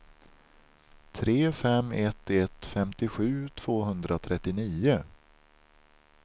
tre fem ett ett femtiosju tvåhundratrettionio